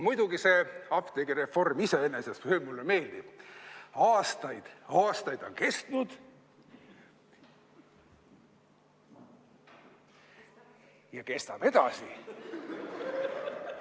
Muidugi see apteegireform iseenesest mulle meeldib – aastaid on juba kestnud ja kestab edasi.